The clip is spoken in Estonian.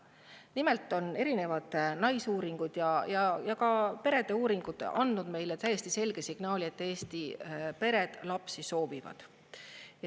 Nimelt on erinevad naisuuringud ja ka perede uuringud andnud meile täiesti selge signaali, et Eesti pered soovivad lapsi.